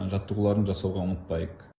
жаттығуларын жасауға ұмытпайық